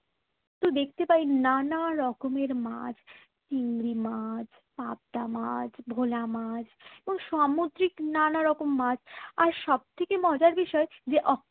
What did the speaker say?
তো দেখতে পাই নানা রকমের মাছ চিংড়ি মাছ পাবদা মাছ ভোলা মাছ ও সামুদ্রিক নানা রকম মাছ আর সবচেয়ে মজার বিষয় যে অক